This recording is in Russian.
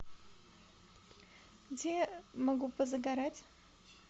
где я могу позагорать